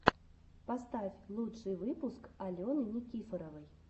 поставь лучший выпуск алены никифоровой